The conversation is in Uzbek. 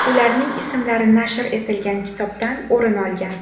Ularning ismlari nashr etilgan kitobdan o‘rin olgan.